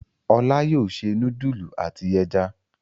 Olá yóò se núdúlù àti ẹja.